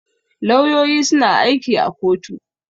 Lauyoyi suna aiki a kotu.